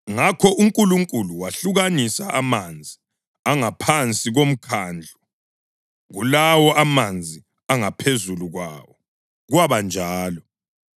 Ngakho uNkulunkulu wehlukanisa amanzi angaphansi komkhandlu kulawo amanzi angaphezulu kwawo. Kwabanjalo.